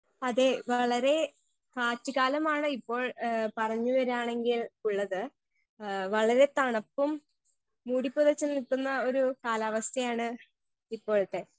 Speaker 1 അതേ വളരേ കാറ്റു കാലമാണിപ്പോൾ ഏ പറഞ്ഞ് വരാണെങ്കിൽ ഉള്ളത് ഏ വളരെ തണുപ്പും മൂടി പുതച്ച് നിക്കുന്ന ഒരു കാലാവസ്ഥയാണ് ഇപ്പോഴത്തെ.